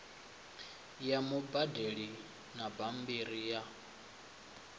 ya mubadeli na bambiri ya